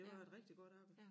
Det var et rigtig godt arbejde